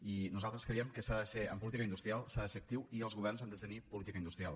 i nosaltres creiem que s’ha de ser en política industrial actiu i els governs han de tenir política industrial